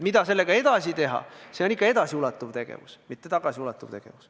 Mida sellega edasi tehakse, see on ikka edasiulatuv tegevus, mitte tagasiulatuv tegevus.